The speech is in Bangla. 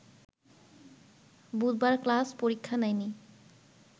বুধবার ক্লাস-পরীক্ষা নেয়নি